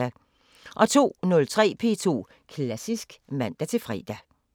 02:03: P2 Klassisk (man-fre)